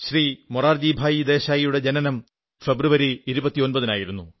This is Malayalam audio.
മൊറാർജിഭായിദേശായിയുടെ ജനനം ഫെബ്രുവരി 29 നായിരുന്നു